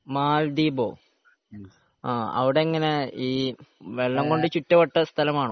മാൽദീപോ അവിടെങ്ങനെ വെള്ളം കൊണ്ട് ചുറ്റപ്പെട്ട സ്ഥലമാണോ സ്ഥലമാണോ